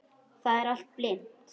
Það er allt blint.